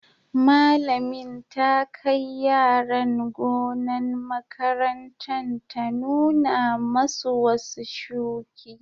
Malamin ta kai yaran gonan' makarantan ta nuna masu wasu shuki.